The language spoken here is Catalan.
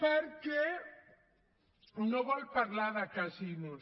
perquè no vol parlar de casinos